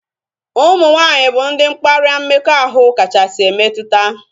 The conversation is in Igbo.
Ụmụ nwaanyị bụ ndị mkparịa mmekọahụ kachasị emetụta